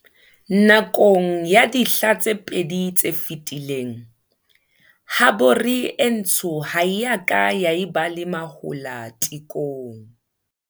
Nakong ya dihla tse pedi tse fetileng, habore e ntsho ha e ka ya ba le mahola tekong.